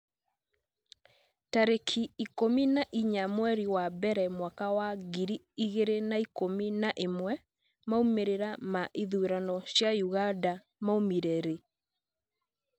tarĩki ikũmi na inya mweri wa mbere mwaka wa ngiri igĩrĩ na ikũmi na ĩmwemaumĩrĩra ma ithurano cia Uganda maumire rĩ?